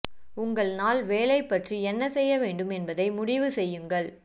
உங்கள் நாள் வேலை பற்றி என்ன செய்ய வேண்டும் என்பதை முடிவு செய்யுங்கள்